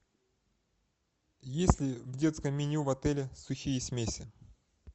есть ли в детском меню в отеле сухие смеси